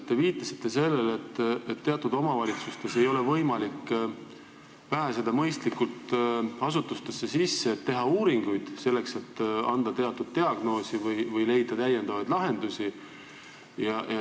Te viitasite sellele, et teatud omavalitsustes ei ole võimalik mõistlikult asutustesse sisse pääseda, et teha uuringuid, selleks et panna diagnoosi või leida uusi lahendusi.